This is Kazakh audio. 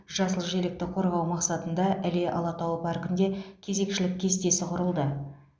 жасыл желекті қорғау мақсатында іле алатауы паркінде кезекшілік кестесі құрылды